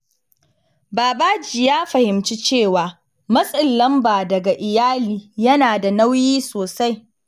Babaji ya fahimci cewa matsin lamba daga iyali yana da nauyi sosai.